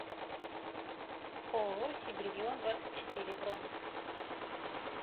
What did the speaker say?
ооо сибрегион двадцать четыре бронь